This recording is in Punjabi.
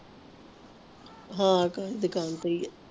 ਹੈ ਭੈਣ ਦੁਕਾਨ ਤੇ ਹੀ ਆ